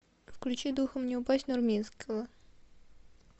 включи духом не упасть нурминского